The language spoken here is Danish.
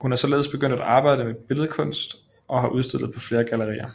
Hun er således begyndt at arbejde med billedkunst og har udstillet på flere gallerier